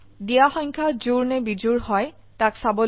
দিয়া সংখ্যা জোড় নে বিজোড় হয় তাক চাবলৈ জাভা প্রোগ্রাম লিখক